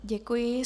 Děkuji.